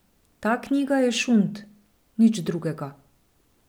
Ta knjiga je šund, nič drugega.